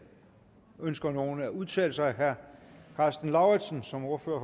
ønsker nogen at udtale sig herre karsten lauritzen som ordfører